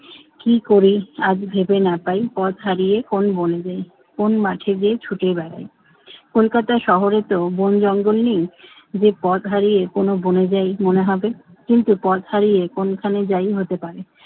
কি করি আর ভেবে না পাই হারিয়ে কোন বনে যাই কোন মাঠে যে ছুটে বেড়াই। কলকাতা শহরেতো বন জঙ্গল নেই যে, পথ হারিয়ে কোন বনে যাই মনে হবে। কিন্তু পথ হারিয়ে কোনখানে যাই হতে পারে।